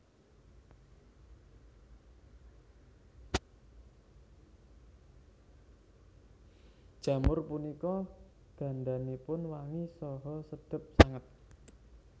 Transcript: Jamur punika gandanipun wangi saha sedhep sanget